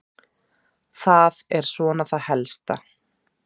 Það er svona það helsta.